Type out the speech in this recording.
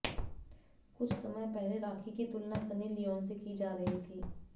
कुछ समय पहले राखी की तुलना सनी लियोनी से की जा रही थी